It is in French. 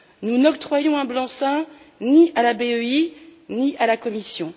Nous n'octroyons un blanc seing ni à la BEI, ni à la Commission.